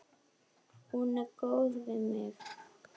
Hún er góð við mig.